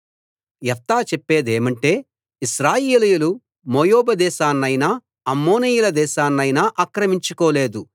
యెఫ్తా చెప్పేదేమంటే ఇశ్రాయేలీయులు మోయాబు దేశాన్నైనా అమ్మోనీయుల దేశాన్నైనా ఆక్రమించుకోలేదు